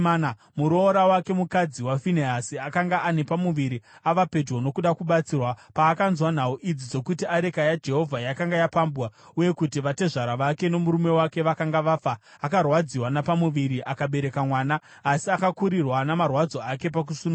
Muroora wake, mukadzi waFinehasi, akanga ane pamuviri ava pedyo nokuda kubatsirwa. Paakanzwa nhau idzi dzokuti areka yaJehovha yakanga yapambwa uye kuti vatezvara vake nomurume wake vakanga vafa, akarwadziwa napamuviri akabereka mwana, asi akakurirwa namarwadzo ake pakusununguka.